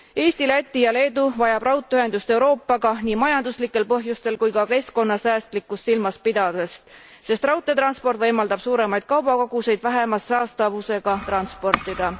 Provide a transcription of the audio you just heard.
Eesti, Läti ja Leedu vajavad raudteeühendust Euroopaga nii majanduslikel põhjustel kui ka keskkonnasäästlikkust silmas pidades, sest raudteetransport võimaldab suuremaid kaubakoguseid vähema saastamisega transportida.